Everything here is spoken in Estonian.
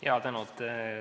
Jaa, tänan!